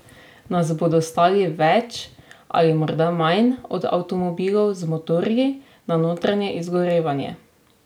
Nas bodo stali več ali morda manj od avtomobilov z motorji na notranje izgorevanje?